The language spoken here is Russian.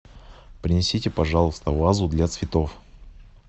принесите пожалуйста вазу для цветов